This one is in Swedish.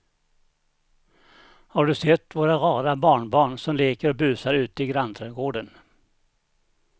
Har du sett våra rara barnbarn som leker och busar ute i grannträdgården!